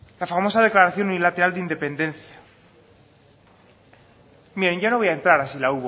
la famosa declaración unilateral de independencia miren ya no voy a entrar a si la